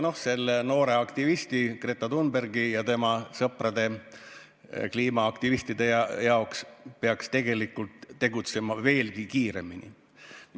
Selle noore aktivisti Greta Thunbergi ja tema sõpradest kliimaaktivistide arvates peaks tegelikkuses tegutsema veelgi kiiremini.